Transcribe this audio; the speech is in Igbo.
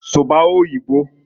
"Suba oyibo".